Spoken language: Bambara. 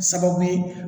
Sababu ye